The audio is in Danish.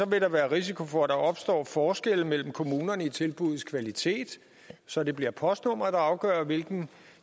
vil der være risiko for at der opstår forskelle mellem kommunerne i tilbuddets kvalitet så det bliver postnummeret der afgør hvilken